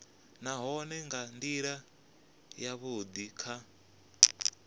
nahone nga ndila yavhudi kha